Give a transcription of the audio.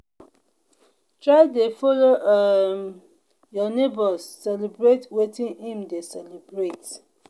try de follow um your neighbors celebrate wetin in de celebrate